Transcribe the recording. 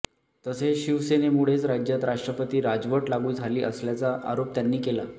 तसेच शिवसेनेमुळेच राज्यात राष्ट्रपती राजवट लागू झाली असल्याचा आरोप त्यांनी केला